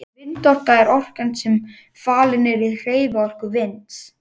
Vindorka er orkan sem falin er í hreyfiorku vinds.